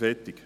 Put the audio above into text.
Fertig